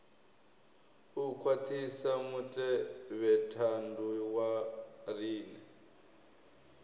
u khwaṱhisa mutevhethandu wa riṋe